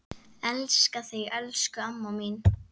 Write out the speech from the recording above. Elska þig, elsku amma mín.